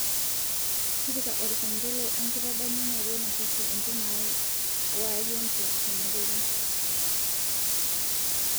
tipika orkengele enkitadamunoto naihusu entumo ai o agenti tena teipa